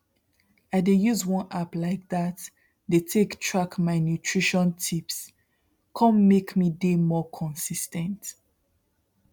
i dey use one app like that dey take track my nutrition tipse come make me dey more consis ten t